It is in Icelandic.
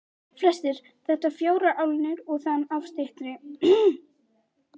Flestir þetta fjórar álnir og þaðan af styttri.